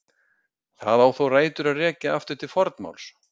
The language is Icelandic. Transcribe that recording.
Það á þó rætur að rekja aftur til fornmáls.